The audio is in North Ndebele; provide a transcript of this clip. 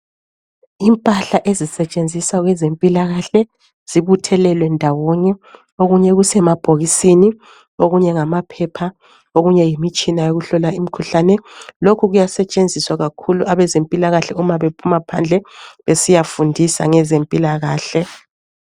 Impahla ezisetshenziswa kwezempilakahle zibuthelelwe ndawonye, okunye kusemabhokisini okunye ngamaphepha, okunye yimitshina yokuhlola imikhuhlane. Lokhu kuyasetshenziswa kakhulu kwabezempilakahle uma bephuma phandle besiyafundisa ngezempilakahle.